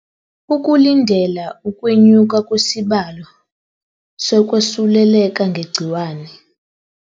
Ukulindela ukwe nyuka kwesibalo so kwesuleleka nge gciwane